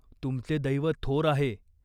तुमचे दैव थोर आहे.